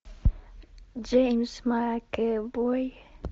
джеймс макэвой